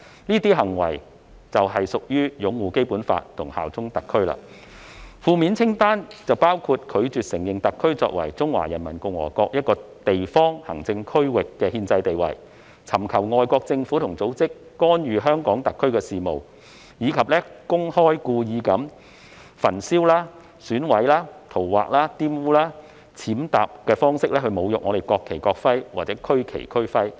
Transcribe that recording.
這些行為就是擁護《基本法》和效忠特區。負面清單包括"拒絕承認香港特別行政區作為中華人民共和國一個地方行政區域的憲制地位"、"尋求外國政府或組織干預香港特別行政區的事務"，以及"公開及故意以焚燒、毀損、塗劃、玷污、踐踏等方式侮辱國旗或國徽或區旗或區徽"。